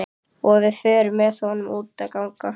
Og við förum með honum út að ganga.